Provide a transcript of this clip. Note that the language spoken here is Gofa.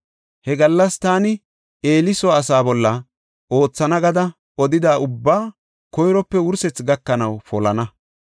He gallas taani Eeli soo asaa bolla oothana gada odida ubbaa koyrope wursethi gakanaw polana.